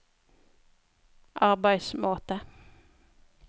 arbeidsmåte